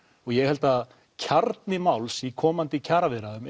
og ég held að kjarni máls í komandi kjaraviðræðum